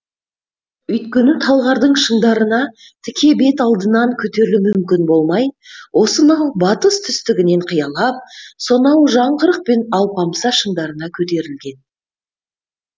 өйткені талғардың шыңдарына тіке бет алдынан көтерілу мүмкін болмай осынау батыс түстігінен қиялап сонау жаңғырық пен алпамса шыңдарына көтерілген